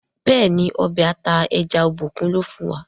béèni Ọbẹ̀ ata ẹja Obokun lò fún wa.